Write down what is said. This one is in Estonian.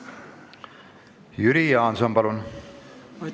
Jüri Jaanson, palun!